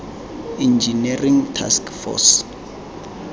engineering task force